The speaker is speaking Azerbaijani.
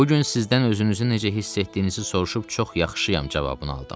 Bu gün sizdən özünüzü necə hiss etdiyinizi soruşub çox yaxşıyam cavabını aldım.